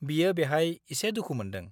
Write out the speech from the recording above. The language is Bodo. बियो बेहाय एसे दुखु मोन्दों।